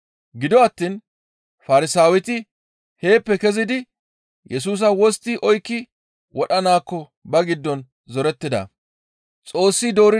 Gido attiin Farsaaweti heeppe kezidi, Yesusa wostti oykki wodhanaakko ba giddon zorettida.